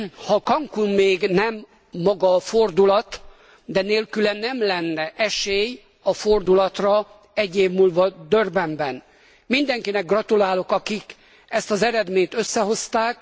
Ha Cancún még maga nem fordulat, de nélküle nem lenne esély a fordulatra egy év múlva Durbanben. Mindenkinek gratulálok, akik ezt az eredményt összehozták.